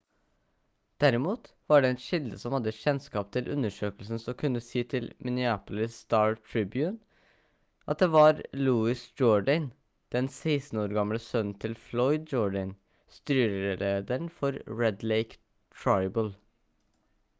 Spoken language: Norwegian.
derimot var det en kilde som hadde kjennskap til undersøkelsen som kunne si til minneapolis star-tribune at det var louis jourdain den 16 år gamle sønnen til floyd jourdain styrelederen for red lake tribal